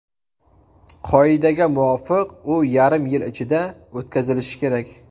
Qoidaga muvofiq, u yarim yil ichida o‘tkazilishi kerak.